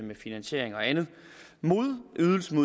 med finansieringen og andet modydelsen